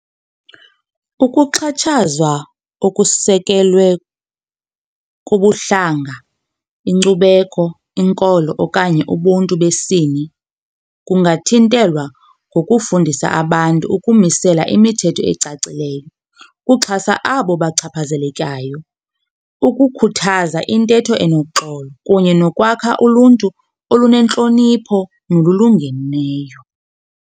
Ukuxhatshazwa okusekelwe kubuhlanga, inkcubeko, inkolo okanye ubuntu besini kungathintelwa ngokufundisa abantu ukumisela imithetho ecacileyo ukuxhasa abo bachaphazelekayo, ukukhuthaza intetho enoxolo kunye nokwakha uluntu olunentlonipho nolulungeneyo.